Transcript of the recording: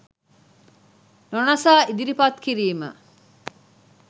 නොනසා ඉදිරිපත් කිරීම